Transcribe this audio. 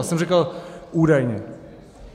Já jsem říkal údajně.